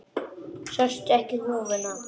Sástu ekki húfuna?